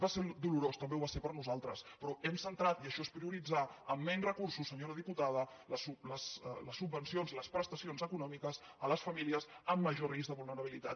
va ser dolorós també ho va ser per a nosaltres però hem centrat i això és prioritzar amb menys recursos senyora diputada les subvencions les prestacions econòmiques a les famílies amb major risc de vulnerabilitat